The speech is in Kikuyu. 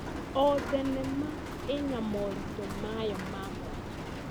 O thenema ĩna moritũ mayo ma mwanya.